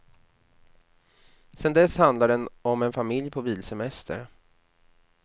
Sen dess handlar den om en familj på bilsemester.